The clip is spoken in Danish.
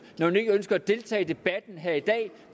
når hun ikke ønsker at deltage i debatten her i dag